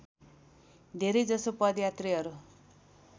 धेरैजसो पदयात्रीहरू